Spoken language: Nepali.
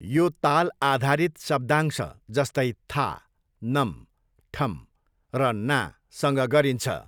यो ताल आधारित शब्दांश, जस्तै, था, नम, ठम र ना सँग गरिन्छ।